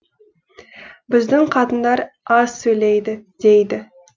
біздің қатындар аз сөйлейді дейді